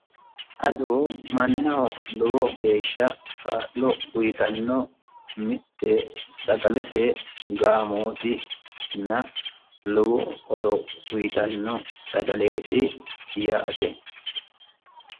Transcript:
ado mannaho lowo kaa'lo uyitanno mitte sagalete gaamootina lowo horo uyitanno sagaleeti yaate